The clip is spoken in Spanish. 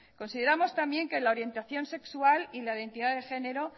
consideramos también que la orientación sexual y la identidad de género